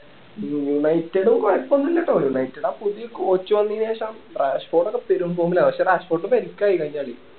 united കൊഴപ്പം ഒന്നും ഇല്ല കേട്ടോ united ആ പുതിയ coach വന്നേന് ശേഷം വെളിക്ക് ആയി കഴിഞ്ഞ കളി